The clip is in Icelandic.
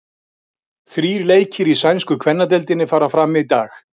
Þrír leikir í sænsku kvennadeildinni fara fram í dag.